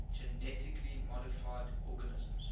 genetically modified organisms